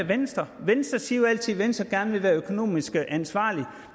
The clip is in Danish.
venstre venstre siger jo altid at venstre gerne vil være økonomisk ansvarlige